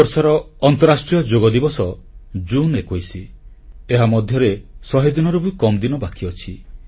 ଏ ବର୍ଷର ଅନ୍ତରାଷ୍ଟ୍ରୀୟ ଯୋଗ ଦିବସ ଜୁନ୍21 ଏହା ମଧ୍ୟରେ ଶହେରୁ ବି କମ୍ ଦିନ ବାକି ଅଛି